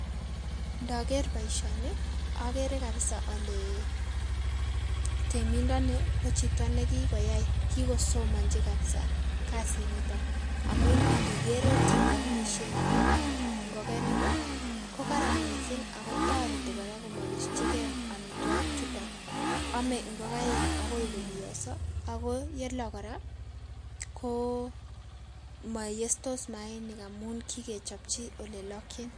Ndager boisioni, agere kabisa ale timindoni ko chito ne kikoyai, kikosomanchi kabisa kasiniton amun indigere ot ole amisien ngokenik ko karan mising ako toreti kora kumabischige amitwigik chuton. Ame ngokaik agoi kobioso ako yelok kora ko mayestos mayainik amun kikechobchi ole lokchin.